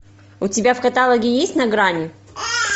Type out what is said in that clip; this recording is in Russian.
у тебя в каталоге есть на грани